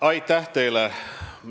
Aitäh teile!